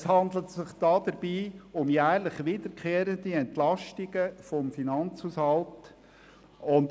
Es handelt sich dabei um jährlich wiederkehrende Entlastungen des Finanzhaushalts.